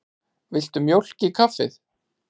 Viltu mjólk í kaffið?